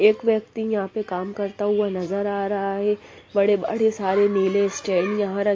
एक व्यक्ति यहाँ पर काम करता हुआ नजर आ रहा हैं बड़े-बड़े सारे नीले स्टैंड यहाँ रखे --